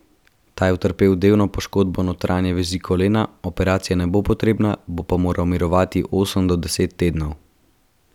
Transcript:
Ta je utrpel delno poškodbo notranje vezi kolena, operacija ne bo potrebna, bo pa moral mirovati osem do deset tednov.